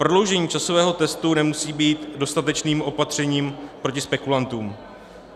Prodloužení časového testu nemusí být dostatečným opatřením proti spekulantům.